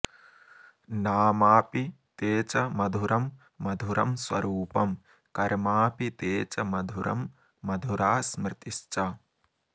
नामाऽपि ते च मधुरं मधुरं स्वरूपं कर्माऽपि ते च मधुरं मधुरा स्मृतिश्च